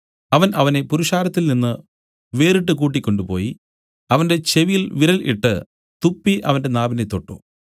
അവൻ അവനെ പുരുഷാരത്തിൽനിന്ന് വേറിട്ടു കൂട്ടിക്കൊണ്ടുപോയി അവന്റെ ചെവിയിൽ വിരൽ ഇട്ട് തുപ്പി അവന്റെ നാവിനെ തൊട്ടു